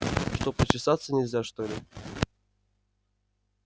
что почесаться нельзя что ли